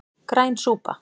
Græn súpa